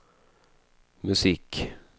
musik